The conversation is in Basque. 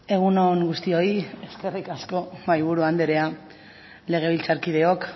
egun on guztioi eskerrik asko mahaiburu andrea legebiltzarkideok